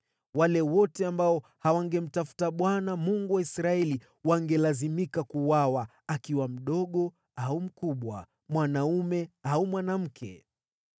Wale wote ambao hawangemtafuta Bwana , Mungu wa Israeli wangelazimika kuuawa, akiwa mdogo au mkubwa, mwanaume au mwanamke.